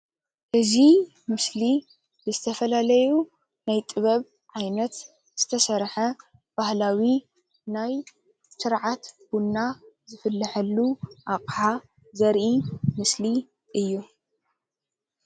እዚ ምስሊ ዝተፈላለዩ ናይ ጥበብ ዓይነት ዝተሰርሐ በህላዊ ናይ ስርዓት ቡና ዝፍለሕሉ ኣቅሓ ዘርኢ ምስል እዩ።